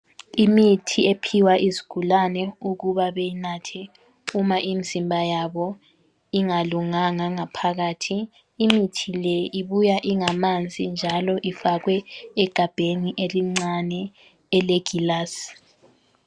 Imithi ephiwa izigulane ukuba beyinathe uma imzimba yabo ingalunganga ngaphakathi imithi le ibuya ingamanzi njalo ifakwe egabheni elincane elegilasi.